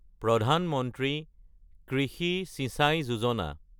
প্ৰধান মন্ত্ৰী কৃষি চিঞ্চাই যোজনা